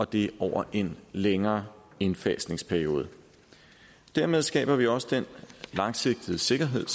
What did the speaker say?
det er over en længere indfasningsperiode dermed skaber vi også den langsigtede sikkerhed